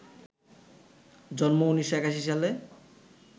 জন্ম ১৯৮১ সালে